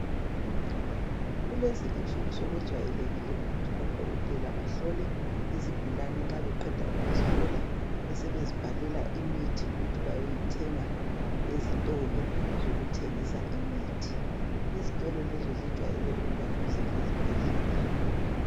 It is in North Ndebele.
Kulezi insuku sokujwayelekile ukuthi odokotela bahlole izigulane, nxa beqeda ukuzihlola besebezibhalela imithi ukuthi bayoyithenga ezitolo zokuthengisa imithi. Izitolo lezo zijwayele ukuba duze lezibhedlela.